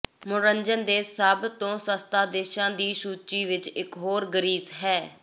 ਮਨੋਰੰਜਨ ਦੇ ਲਈ ਸਭ ਤੋਂ ਸਸਤਾ ਦੇਸ਼ਾਂ ਦੀ ਸੂਚੀ ਵਿਚ ਇਕ ਹੋਰ ਗ੍ਰੀਸ ਹੈ